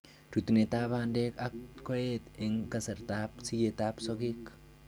Rutunetab bandeek ak koeet en kasartab sikeetab sokeek